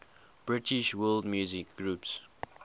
british world music groups